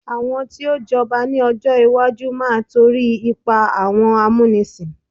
àwọn tio j'oba ni ọjọ iwaju ma to ri ipa awọn amunisin